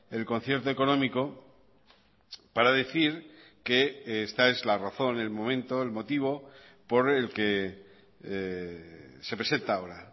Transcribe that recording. el concierto económico para decir que esta es la razón el momento el motivo por el que se presenta ahora